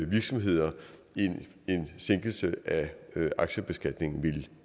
virksomheder end en sænkelse af aktiebeskatningen ville